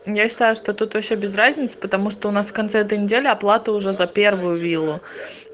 я считаю что тут вообще без разницы потому что у нас в конце этой недели оплата уже за первую виллу